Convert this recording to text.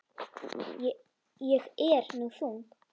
Ég er nú þung.